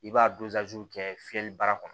I b'a kɛ fiyɛli baara kɔnɔ